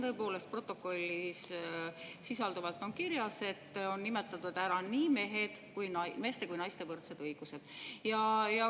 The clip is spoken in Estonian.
Tõepoolest, siin protokollis on kirjas, et on nimetatud ära nii meeste kui ka naiste võrdsed õigused.